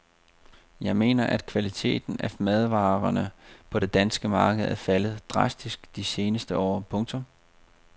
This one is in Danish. Jeg mener at kvaliteten af madvarerne på det danske marked er faldet drastisk de seneste år. punktum